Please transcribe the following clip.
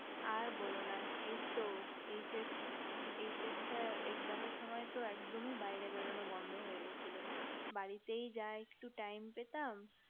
আর বোলো না এইতো HS~HS টা exam এর সময় তো একদমই বাইরে বেড়ানো বন্ধ গিয়েছিলো বাড়িতেই যা একটু time পেতাম